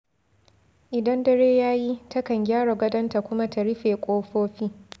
Idan dare ya yi, takan gyara gadonta kuma ta rufe ƙofofi.